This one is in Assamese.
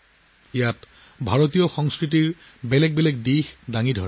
ইয়াৰ ভিতৰত ভাৰতীয় সংস্কৃতিৰ বিভিন্ন ৰং অন্তৰ্ভুক্ত কৰা হৈছে